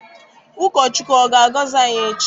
Ụkọ Chukwu ọ ga-agọzi anyị echi?